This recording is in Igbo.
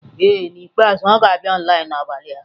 Ee N'ikpeazụ ọ ga-abịa online n'abalị a.